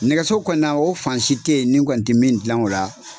Nɛgɛso kɔni na o fan si tɛ ye ni n kɔni tɛ min dilan o la.